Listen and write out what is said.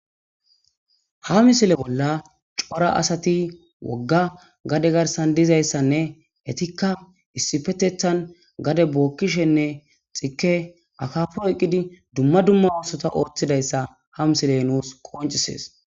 Ha misile bolla cora asati wogga gade garsan dizayssanne hetikka issifetethan gade bookkishenne xike akapoyqqidi dumma dumma oosota ooththidayssa ha misile nuus qoncisees